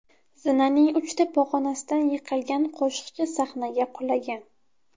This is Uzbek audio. Zinaning uchta pog‘onasidan yiqilgan qo‘shiqchi sahnaga qulagan.